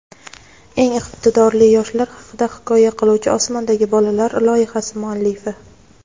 eng iqtidorli yoshlar haqida hikoya qiluvchi "Osmondagi bolalar" loyihasi muallifi.